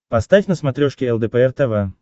поставь на смотрешке лдпр тв